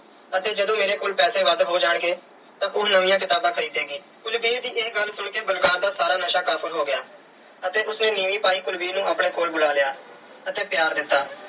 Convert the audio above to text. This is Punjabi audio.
ਅਤੇ ਜਦੋਂ ਮੇਰੇ ਕੋਲ ਪੈਸ ਵੱਧ ਹੋ ਜਾਣਗੇ, ਤਾਂ ਉਹ ਨਵੀਆਂ ਕਿਤਾਬਾਂ ਖਰੀਦੇਗੀ। ਕੁਲਵੀਰ ਦੀ ਇਹ ਗੱਲ ਸੁਣ ਕੇ ਬਲਕਾਰ ਦਾ ਸਾਰਾ ਨਸ਼ਾ ਕਾਫੂਰ ਹੋ ਗਿਆ ਅਤੇ ਉਸ ਨੇ ਨੀਵੀਂ ਪਾਈ ਕੁਲਵੀਰ ਨੂੰ ਆਪਣੇ ਕੋਲ ਬੁਲਾ ਲਿਆ ਅਤੇ ਪਿਆਰ ਦਿੱਤਾ।